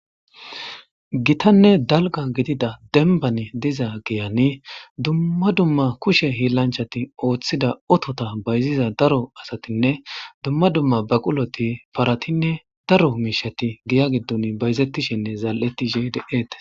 gitanne dalga gidida denbani diza geyani dumma dumma kushe hiilanchati ooththida otota bayziza daro asatinne dumma dumma baquloti paratinne daro miishati giya giddun bayzettishinne zal7etti gdeete